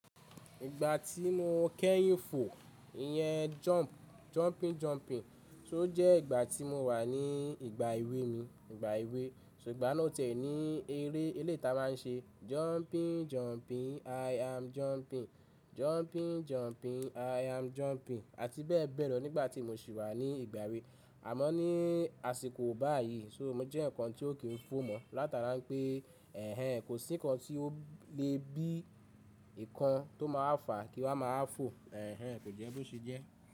Ìgbà tí mo kẹ́yìn fò, ìyẹn jumping, jumping, jumping, só jẹ́ ìgbà tí mo wà ní ìgbà èwe mi, ìgbà èwe. Ṣùgbọ́n náà tẹ̀ ní eré elé tá má ń ṣe jumping, jumping, i am jumping. Jumping, jumping, i am jumping àti bẹ́ẹ̀ bẹ́ẹ̀ lọ nígbà tí mo sì wà ní ìgbà èwe. Àmọ́ ní àsìkò báyìí ṣó mo jẹ́ ǹkan tí ó kì í fò mọ́ látara pé ẹ̀hen kò sí ǹkan tí ó lè bí ǹkan tó má a fà kí wa má wa fò. Ẹ̀hen kò jẹ́ bó ṣe jẹ́.